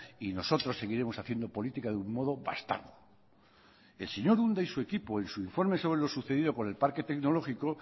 y nosotros seguiremos haciendo política de un modo bastardo el señor unda y su equipo en su informe sobre lo sucedido por el parque tecnológico